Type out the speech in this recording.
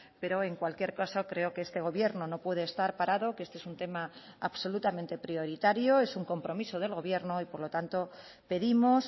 pero en cualquier caso creo que este gobierno no puede estar parado que este es un tema absolutamente prioritario es un compromiso del gobierno y por lo tanto pedimos